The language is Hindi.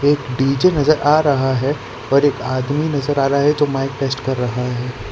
एक डी_जे नजर आ रहा है और एक आदमी नजर आ रहा है जो माइक टेस्ट कर रहा है।